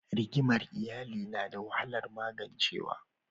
Rigimar iyali nada wahalar magancewa.